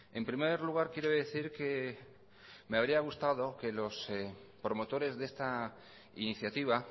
en primer lugar quiero decir que me habría gustado que los promotores de esta iniciativa